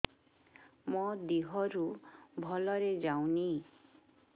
ମୋ ଦିହରୁ ଭଲରେ ଯାଉନି